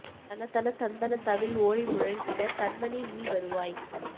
தண தண தந்தண தவில் ஓலி முழங்கிடத் தண்மணி நீ வருவாய்